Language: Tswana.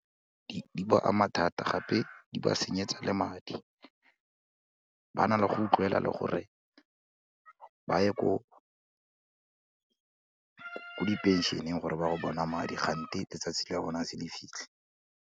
Di baka mathata gape di ba senyetsa le madi, ba na le go utlwela le gore ba ye ko diphenšeneng gore be go bona madi kgante letsatsi la bona ha se le fitlhe.